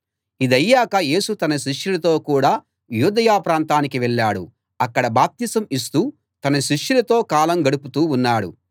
ఇదయ్యాక యేసు తన శిష్యులతో కూడా యూదయ ప్రాంతానికి వెళ్ళాడు అక్కడ బాప్తిసం ఇస్తూ తన శిష్యులతో కాలం గడుపుతూ ఉన్నాడు